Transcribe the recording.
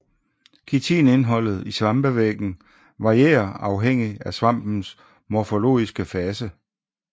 Kitinindholdet i svampevæggen varierer afhængigt af svampens morfologiske fase